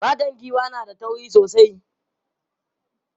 Fatan giwa na da tauri sosai.